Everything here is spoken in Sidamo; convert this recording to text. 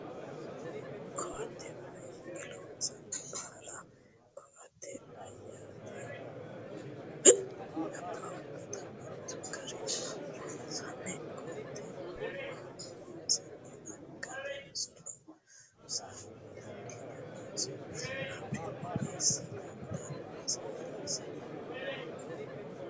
Koatte mayiinni loonsanni? Baala koatte meyaatennitano labbaahunitano mittu gariilla loonsanni? Koatte mama loonsanni? Angatennino loosa dandiinnanninso fafirika eessinella loonsanni ise?